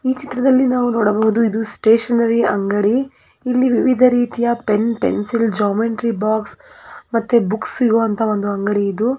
ಈ ಚಿತ್ರದಲ್ಲಿ ನಾವು ನೋಡಬಹುದುಇದು ಸ್ಟೇಷನರಿ ಅಂಗಡಿ ಇಲ್ಲಿ ವಿವಿಧ ರೀತಿಯ ಪೆನ್ ಪೆನ್ಸಿಲ್ ಜಾಮೆಟ್ರಿ ಬಾಕ್ಸ್ ಮತ್ತೆ ಬುಕ್ಸ್ ಸಿಗೋ ಅಂತ ಅಂಗಡಿ ಇದು ಮತ್ತೆ ಇಲ್ಲಿ ಕೆಂಪು ದೇವ್ರುದು ಡೇರಿ ಕೂಡ ಇಟ್ಟಿದ್ದಾರೆ ಮಾರಾಟಕ್ಕೆಈ ಒಂದು ವಿಧ ದೇವರುಗಳನ್ನು ನಾವು ನೋಡಬಹುದು.